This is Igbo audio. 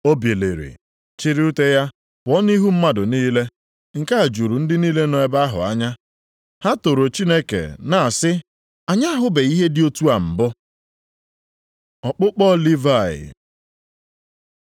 O biliri, chịrị ute ya pụọ nʼihu mmadụ niile. Nke a juru ndị niile nọ nʼebe ahụ anya. Ha toro Chineke na-asị, “Anyị ahụbeghị ihe dị otu a mbụ!” Ọkpụkpọ Livayị